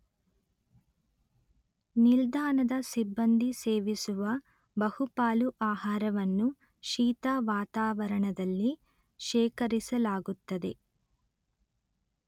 ನಿಲ್ದಾಣದ ಸಿಬ್ಬಂದಿ ಸೇವಿಸುವ ಬಹುಪಾಲು ಆಹಾರವನ್ನು ಶೀತ ವಾತಾವರಣದಲ್ಲಿ ಶೇಖರಿಸಲಾಗುತ್ತದೆ